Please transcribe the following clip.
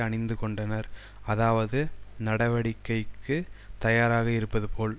அணிந்து கொண்டனர் அதாவது நடவடிக்கைக்கு தயாராக இருப்பது போல்